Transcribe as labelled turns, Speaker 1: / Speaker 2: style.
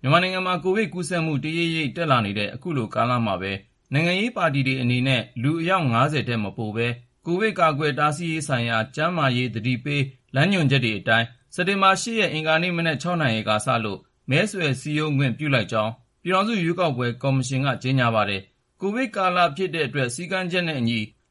Speaker 1: မြန်မာနိုင်ငံမှာ ကိုဗစ်ကူးစက်မှု တရိပ်ရိပ် တက်လာနေတဲ့ အခုလိုကာလမှာပဲ နိုင်ငံရေးပါတီတွေအနေနဲ့ လူအယောက် ၅၀ ထက်မပိုဘဲ ကိုဗစ်ကာကွယ်တားဆီးရေးဆိုင်ရာ ကျန်းမာရေး သတိပေး လမ်းညွှန်ချက်တွေအတိုင်း စက်တင်ဘာ ၈ ရက် အင်္ဂါနေ့ မနက် ၆ နာရီကစလို့ မဲဆွယ်စည်းရုံးခွင့် ပြုလိုက်ကြောင်း ပြည်ထောင်စု ရွေးကောက်ပွဲ ကော်မရှင်က ကြေညာပါတယ်။ ကိုဗစ်ကာလဖြစ်တဲ့အတွက်